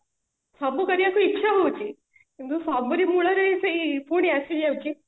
ସବୁ କରିବା ପାଇଁ ଇଚ୍ଛା ହଉଛି କିନ୍ତୁ ସବୁରି ମୂଳରେ ପୁଣି ଆସି ଯାଉଛି